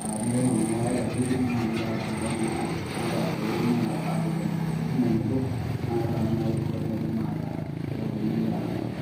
aa teneponu iltung`anak oare ashu okuni oata n`duat naapaasha teneponu aapik entumo enebo. Naa keeta naa naaji roruat naa naata keponuni